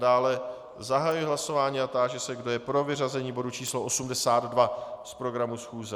Dále zahajuji hlasování a táži se, kdo je pro vyřazení bodu číslo 82 z programu schůze.